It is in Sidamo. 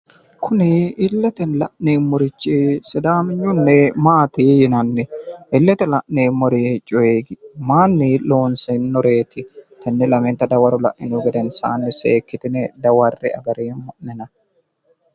kuni illetenni la'neemmorichi sidaaminyunni maati yinanni?,illete la'neemmo coyi mayiinni loonsoonnireeti?,tenne lamenta dawaro la'inihu gedensaanni seekkitine dawarre''e agareemmo'nena.